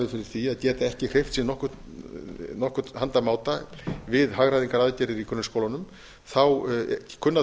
fyrir því a geta ekki hreyft sig á nokkurn handa máta við hagræðingaraðgerðir í grunnskólanum kunna